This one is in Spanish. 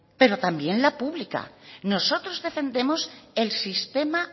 pero también la pública nosotros defendemos el sistema